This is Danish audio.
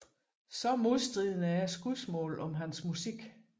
Så modstridende er skudsmålene om hans musik